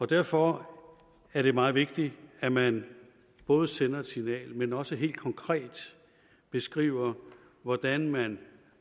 derfor er det meget vigtigt at man både sender et signal men også helt konkret beskriver hvordan man